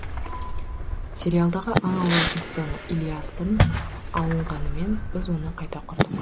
сериалдағы аң аулайтын сцена ілиястан алынғанымен біз оны қайта құрдық